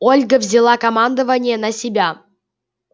ольга взяла командование на себя